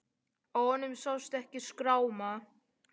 Á honum sást ekki skráma.